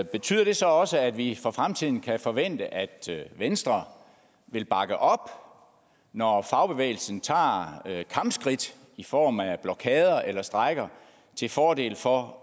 betyder det så også at vi for fremtiden kan forvente at venstre vil bakke op når fagbevægelsen tager kampskridt i form af blokader eller strejker til fordel for